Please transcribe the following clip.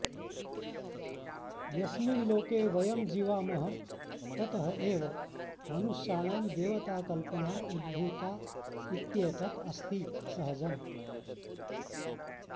यस्मिन् लोके वयं जीवामः ततः एव मनुष्याणां देवताकल्पना उद्भूता इत्येतत् अस्ति सहजम्